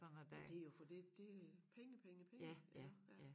Men det jo fordi det penge penge penge iggå ja